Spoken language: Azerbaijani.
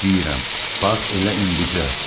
İstəyirəm, bax elə indicə.